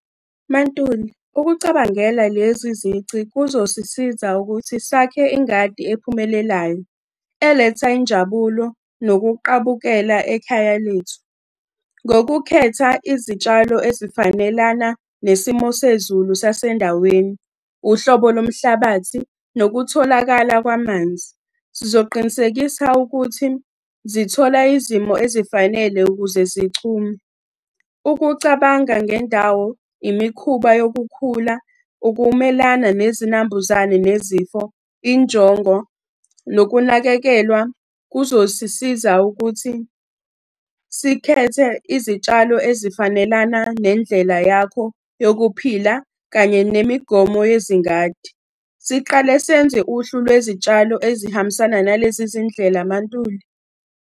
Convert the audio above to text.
MaNtuli, ukucabangela lezi zici kuzosisiza ukuthi sakhe ingadi ephumelelayo, eletha injabulo nokuqabukela ekhaya lethu. Ngokukhetha izitshalo ezifanelana nesimo sezulu sasendaweni, uhlobo lomhlabathi, nokutholakala kwamanzi. Sizoqinisekisa ukuthi zithola izimo ezifanele ukuze zinchume. Ukucabanga ngendawo, imikhuba yokukhula, ukumelana nezinambuzane nezifo, injongo, nokunakekelwa kuzosisiza ukuthi sikhethe izitshalo ezifanelana nendlela yakho yokuphila kanye nemigomo yezingadi. Siqale senze uhlu lwezitshalo ezihambisana nalezi zindlela MaNtuli.